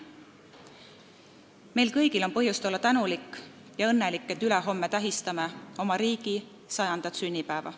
Meil kõigil on põhjust olla tänulik ja õnnelik, et ülehomme tähistame oma riigi 100. sünnipäeva.